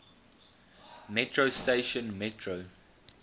metro station metro